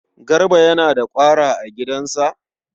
Garba yana da ƙwara a gidansa?